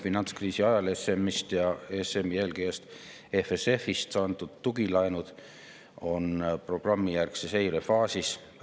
Finantskriisi ajal ESM‑ist ja ESM‑i eelkäijast EFSF‑ist antud tugilaenud on programmijärgse seire faasis.